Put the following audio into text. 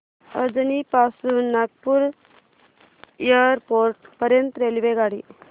अजनी पासून नागपूर एअरपोर्ट पर्यंत रेल्वेगाडी